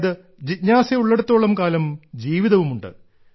അതായത് ജിജ്ഞാസയുള്ളിടത്തോളം കാലം ജീവിതവുമുണ്ട്